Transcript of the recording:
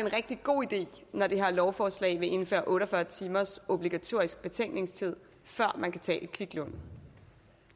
en rigtig god idé når det her lovforslag vil indføre otte og fyrre timers obligatorisk betænkningstid før man kan tage et kviklån